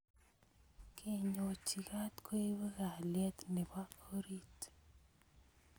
kenyochi kat koipu kalyet nebo orit